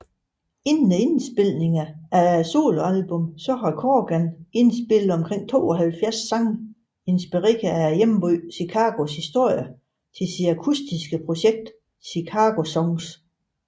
Inden indspilningerne af soloalbummet havde Corgan indspillet omkring 72 sange inspiret af hjembyen Chicagos historie til sit akutiske projekt ChicagoSongs